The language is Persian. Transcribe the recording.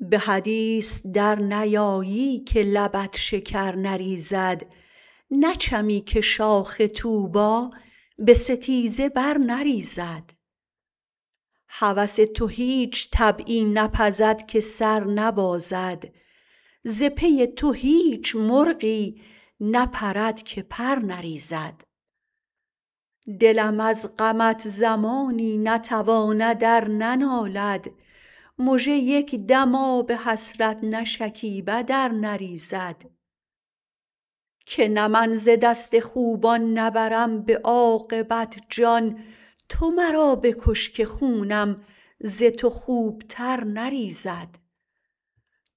به حدیث در نیایی که لبت شکر نریزد نچمی که شاخ طوبی به ستیزه بر نریزد هوس تو هیچ طبعی نپزد که سر نبازد ز پی تو هیچ مرغی نپرد که پر نریزد دلم از غمت زمانی نتواند ار ننالد مژه یک دم آب حسرت نشکیبد ار نریزد که نه من ز دست خوبان نبرم به عاقبت جان تو مرا بکش که خونم ز تو خوبتر نریزد